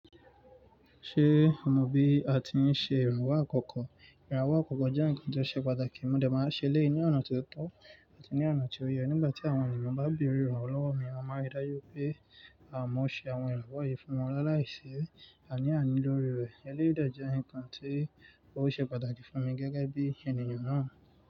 Ṣé o mo bí àti ṣe ìrànwọ́ àkọ́kọ́? Ìrànwọ́ àkọ́kọ́ jẹ́ ǹkan tó ṣe pàtàkì, mo dà máa ṣe lé è ní ọ̀nà tó tọ́ àti ní ọ̀nà tí ó yẹ. Nígbà tí àwọn ènìyàn bá bèrè ìrànwọ́ lọ́wọ́ mi, mo máa rí i dájú pé àmọ̀ ṣe àwọn ìrànwọ́ yìí fún wọn láì lai si àní-àní lórí rẹ̀. Ẹni dẹ̀ jẹ́ ǹkan tí ó ṣe pàtàkì fún mi gẹ́gẹ́ bí ènìyàn náà.